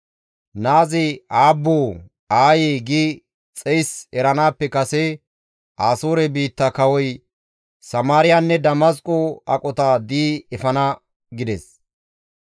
Naazi, ‹Aabboo! Aayee!› gi xeys eranaappe kase Asoore biitta kawoy Samaariyanne Damasqo aqota di7i efana» gides.